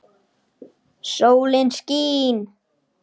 Sólin skín.